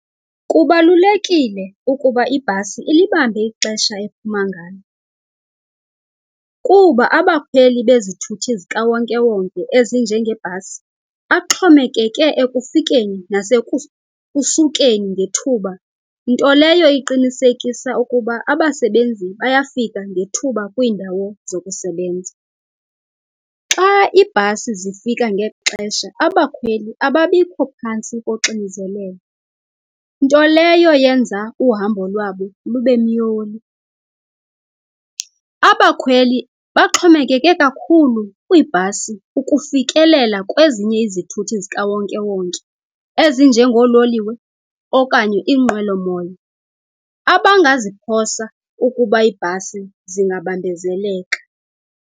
Kubalulekile ukuba ibhasi ilibambe ixesha ephuma ngalo kuba abakhweli bezithuthi zikawonkewonke ezinjengebhasi axhomekeke ekufikeni nasekusukeni ngethuba, nto leyo iqinisekisa ukuba abasebenzi bayafika ngethuba kwiindawu zokusebenza. Xa ibhasi zifika ngexesha abakhweli ababikho phantsi koxinzelelo, nto leyo yenza uhamba lwabo lube myoli. Abakhweli baxhomekeke kakhulu kwiibhasi ukufikelela kwezinye izithuthi zikawonkewonke ezinjengoololiwe okanye iinqwelomoya, abangaziphosa ukuba ibhasi zingabambezeleka.